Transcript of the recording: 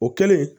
O kɛlen